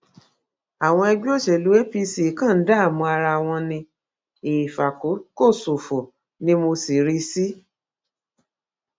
àwọn ẹgbẹ òṣèlú apc kan ń dààmú ara wọn ní ìfàkókòṣòfò ni mo sì rí i sí